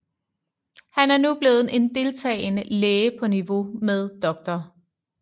Han er nu blevet en deltagende læge på niveau med Dr